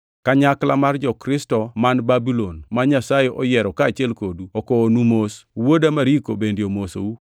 Kanyakla mar jo-Kristo man Babulon, ma Nyasaye oyiero kaachiel kodu, okowonu mos. Wuoda Mariko bende omosou.